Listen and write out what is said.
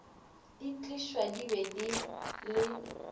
di tliswa di be le